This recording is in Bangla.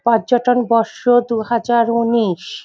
পর্যটন বর্ষ দু হাজার উনিশ --